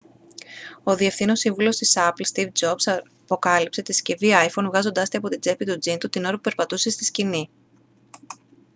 ο διευθύνων σύμβουλος της apple στιβ τζομπς αποκάλυψε τη συσκευή iphone βγάζοντάς τη από την τσέπη του τζιν του την ώρα που περπατούσε στη σκηνή